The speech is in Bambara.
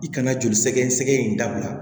I kana joli sɛgɛsɛgɛ in dabila